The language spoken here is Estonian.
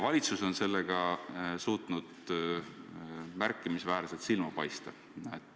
Valitsus on sellega suutnud märkimisväärselt silma paista.